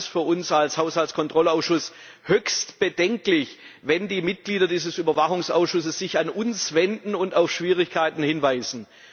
Es ist für uns als Haushaltskontrollausschuss höchst bedenklich, wenn sich die Mitglieder dieses Überwachungsausschusses an uns wenden und auf Schwierigkeiten hinweisen.